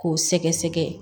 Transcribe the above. K'o sɛgɛsɛgɛ